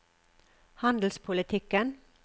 handelspolitikken